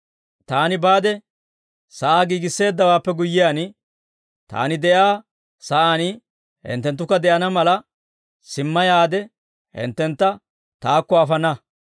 Taani baade sa'aa giigisseeddawaappe guyyiyaan, Taani de'iyaa sa'aan hinttenttukka de'ana mala, simma yaade hinttentta Taakko afana.